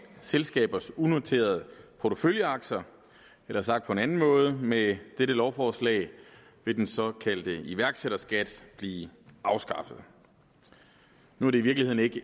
selskabers unoterede porteføljeaktier eller sagt på en anden måde med dette lovforslag vil den såkaldte iværksætterskat blive afskaffet nu er det i virkeligheden ikke